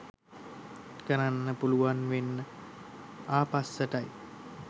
කරන්න පුලුවන් වෙන්නේ ආපස්සට යි.